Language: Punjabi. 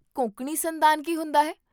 ਕੋਂਕਣੀ ਸੰਦਾਨ ਕੀ ਹੁੰਦਾ ਹੈ?